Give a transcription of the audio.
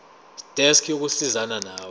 desk yokusizana nawe